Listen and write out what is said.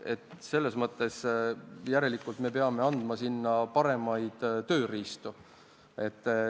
Järelikult peame andma neile paremad tööriistad.